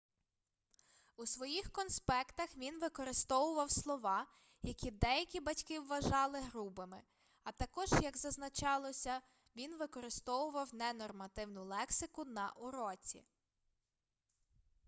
у своїх конспектах він використовував слова які деякі батьки вважали грубими а також як зазначалося він використовував ненормативну лексику на уроці